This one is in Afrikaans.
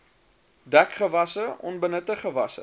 dekgewasse onbenutte gewasse